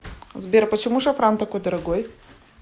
сбер почему шафран такой дорогой